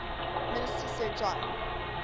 minister sir john